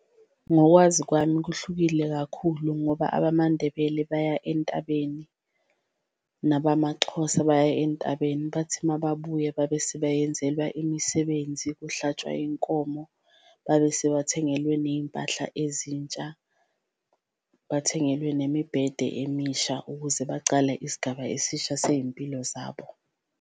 Ngokwazi kwami kuhlukile kakhulu ngoba abamaNdebele baya entabeni nabamaXhosa baya entabeni, bathi mababuya babe sebayenzelwa imisebenzi, kuhlatshwa inkomo. Babe sebathengelwe neyimpahla ezintsha, bathengelwe nemibhede emisha ukuze bacale isigaba esisha seyimpilo zabo.